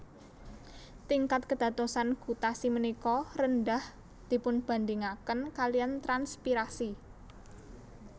Tingkat kédadosan gutasi ménika rendah dipunbandingakén kaliyan transpirasi